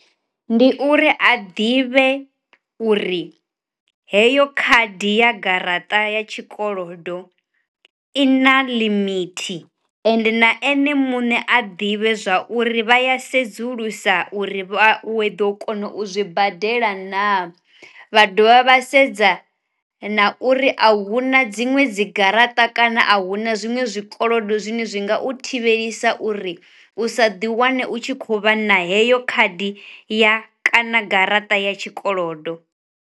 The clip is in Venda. Ndi uri a ḓivhe uri heyo khadi ya garaṱa ya tshikolodo i na limithi ende na ene muṋe a ḓivhe zwa uri vha ya sedzulusa uri vha we ḓo kona u zwi badela naa, vha dovha vha sedza na uri a huna dziṅwe dzi garaṱa kana a huna zwiṅwe zwikolodo zwine zwi nga u thivhelisa uri u sa ḓi wane u tshi khou vha na heyo khadi ya kana garaṱa ya tshi kolodo.